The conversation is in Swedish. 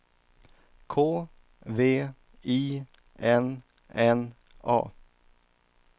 K V I N N A